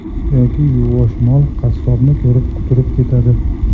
Yoki yuvosh mol qassobni ko‘rib, quturib ketadi.